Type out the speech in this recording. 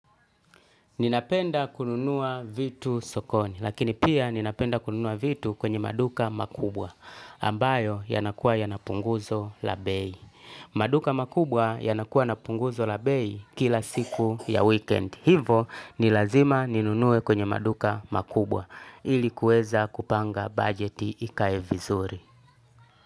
Ninapenda kununua vitu sokoni, lakini pia ninapenda kununua vitu kwenye maduka makubwa, ambayo yanakuwa yana punguzo la bei. Maduka makubwa yanakuwa napunguzo labei kila siku ya weekend. Hivo, ni lazima ninunue kwenye maduka makubwa, ili kuweza kupanga budgeti ikae vizuri.